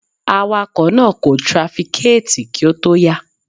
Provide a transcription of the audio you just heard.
Awakọ̀ náà kò trafikéẹ̀tì kí ó tó yà.